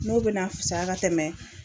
N'o be na fisaya ka tɛmɛ